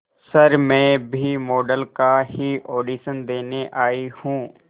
sir मैं भी model का ही ऑडिशन देने आई हूं